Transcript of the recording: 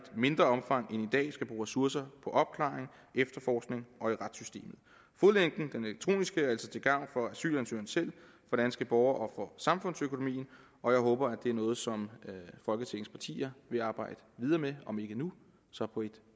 mindre omfang end i dag skal bruge ressourcer på opklaring efterforskning og i retssystemet fodlænken den elektroniske er altså til gavn for asylansøgeren selv for danske borgere og samfundsøkonomien og jeg håber at det er noget som folketingets partier vil arbejde videre med om ikke nu så på et